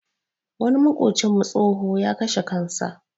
Wani maƙocinmu tsoho, ya kashe kansa.